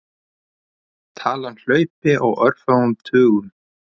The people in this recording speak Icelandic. Talan hlaupi á örfáum tugum.